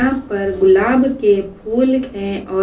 यहां पर गुलाब के फूल हैं और---